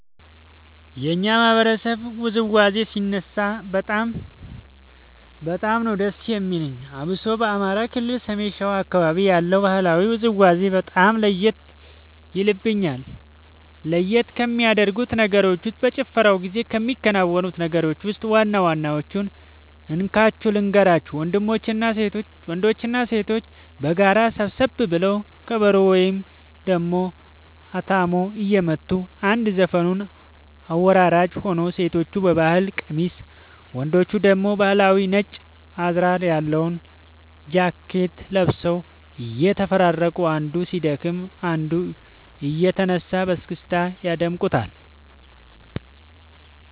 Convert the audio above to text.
የኛ ማህበረሰብ ውዝዋዜ ሲነሳ በጣም ነዉ ደስ የሚለኝ አብሶ በአማራ ክልል ሰሜን ሸዋ አካባቢ ያለው ባህላዊ ውዝውዜ በጣም ለየት የልብኛል። ለየት ከሚያደርጉት ነገሮች ውስጥ በጭፈራው ጊዜ ከሚከናወኑት ነገሮች ውስጥ ዋና ዋናወቹን እንካችሁ ልንገራችሁ ወንዶችና ሴቶች በጋራ ሰብሰብ ብለው ከበሮ ወይም ደሞ አታሞ እየመቱ አንድ ዘፈኑን አወራራጅ ሆኖ ሴቶቹ በባህል ቀሚስ ወንዶቹ ደግሞ ባህላዊ ነጭ አዝራር ያለው ጃኬት ለብሰው እየተፈራረቁ አንዱ ሲደክም አንዱ እየተነሳ በስክስታ ያደምቁታል